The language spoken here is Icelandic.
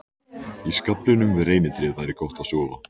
Í skaflinum við reynitréð væri gott að sofa.